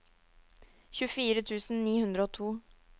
tjuefire tusen ni hundre og to